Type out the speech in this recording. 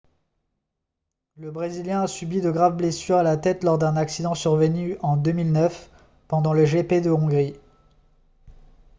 le brésilien a subi de graves blessures à la tête lors d'un accident survenu en 2009 pendant le gp de hongrie